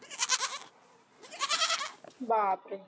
बापरे